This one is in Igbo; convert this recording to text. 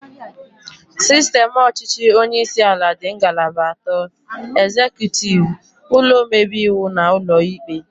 Sistem ọchịchị onyeisi ala dị ngalaba atọ, ezekutiv, ụlọ omebe iwu na ụlọ ikpe